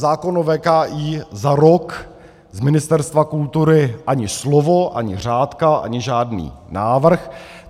Zákon o VKI - za rok z Ministerstva kultury ani slovo, ani řádka, ani žádný návrh.